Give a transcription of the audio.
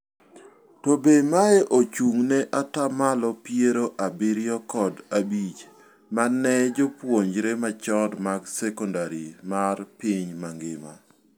To be mae ochung' ne ataa malo piero abirio kod abich mar ne jopuonjrre machon mag secondary mar piny mangima.